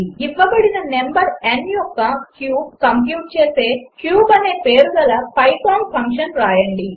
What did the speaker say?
ఇవ్వబడిన number n యొక్క cube compute చేసే క్యూబ్ అనే పేరుగల పైథాన్ ఫంక్షన్ వ్రాయండి